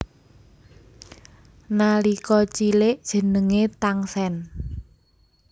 Nalika cilik jenengé Tangsen